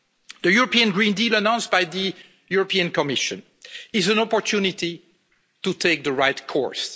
us. The European Green Deal announced by the European Commission is an opportunity to take the right course.